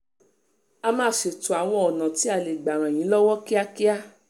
a máa ṣètò àwọn ọ̀nà tá a lè gbà ràn yín lọ́wọ́ kíákíá